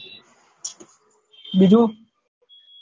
બીજું